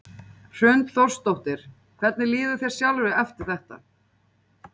Hrund Þórsdóttir: Hvernig líður þér sjálfri eftir þetta?